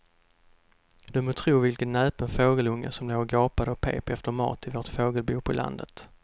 Du må tro vilken näpen fågelunge som låg och gapade och pep efter mat i vårt fågelbo på landet.